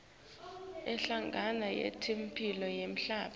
inhlangano yetemphilo yemhlaba